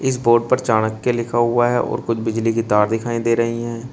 इस बोर्ड पर चाणक्य लिखा हुआ है और कुछ बिजली की तार दिखाई दे रही है।